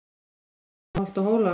Yfir mela holt og hóla